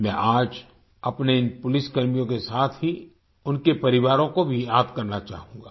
मैं आज अपने इन पुलिसकर्मियों के साथ ही उनके परिवारों को भी याद करना चाहूंगा